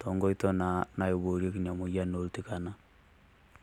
tonkoito naa naiboorieki ina moyian oltikana.